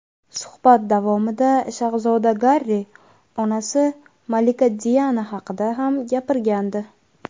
suhbat davomida shahzoda Garri onasi malika Diana haqida ham gapirgandi.